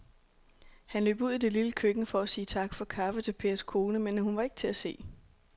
Han løb ud i det lille køkken for at sige tak for kaffe til Pers kone, men hun var ikke til at se.